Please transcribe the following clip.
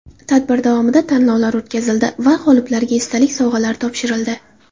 Tadbir davomida tanlovlar o‘tkazildi va g‘oliblarga esdalik sovg‘alari topshirildi.